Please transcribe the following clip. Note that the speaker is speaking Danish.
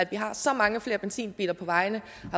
vi har så mange flere benzinbiler på vejene